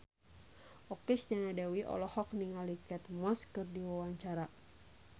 Okky Setiana Dewi olohok ningali Kate Moss keur diwawancara